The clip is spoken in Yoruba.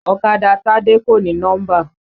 Ọ̀kadà Tádé kò ní nọ́mbà.